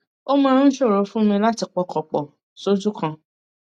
ó máa ń ṣòro fún mi láti pọkàn pọ soju kan